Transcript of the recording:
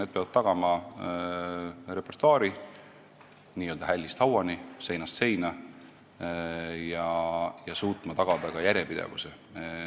Nad peavad tagama repertuaari n-ö hällist hauani ja seinast seina ning suutma tagada ka järjepidevuse.